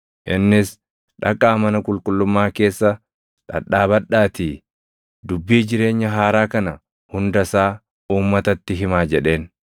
Innis, “Dhaqaa mana qulqullummaa keessa dhadhaabadhaatii, dubbii jireenya haaraa kana hunda isaa uummatatti himaa” jedheen.